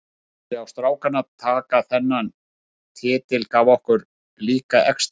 Að sjá strákana taka þennan titil gaf okkur líka extra.